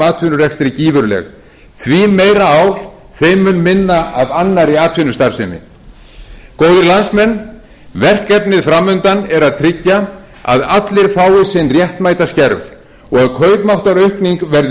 atvinnurekstri gífurleg því meira ál þeim mun minna af annarri atvinnustarfsemi góðir landsmenn verkefnið fram undan er að tryggja að allir fái sinn réttmæta skerf og að kaupmáttaraukning verði